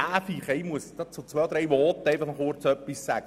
Nun möchte ich mich zu ein paar Voten äussern.